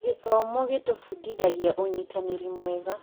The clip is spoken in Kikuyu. Gĩthomo gĩtũbundithagia ũnyitanĩri mwega.